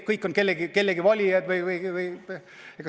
Kõik on kellegi valijad.